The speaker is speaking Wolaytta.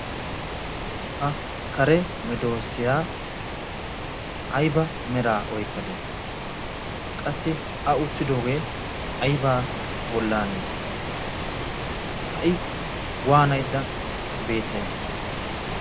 Ha kare meedoosiyaa ayba meraa oykkadee? qassi a uttidoogee aybaa bollaanee? ha"i waanaydda beettay?